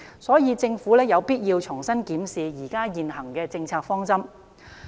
所以，政府有必要重新檢視現行的政策方針。